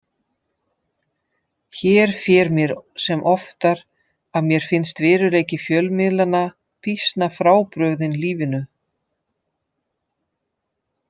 Hér fer mér sem oftar að mér finnst veruleiki fjölmiðlanna býsna frábrugðinn lífinu.